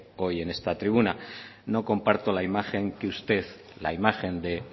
hoy en esta tribuna no comparto la imagen que usted la imagen de